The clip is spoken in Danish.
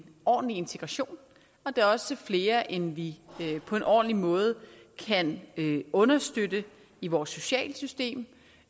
ordentlig integration og det er også flere end vi på en ordentlig måde kan understøtte i vores sociale system